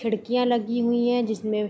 खिड़कियाँ लगी हुई है जिसमे --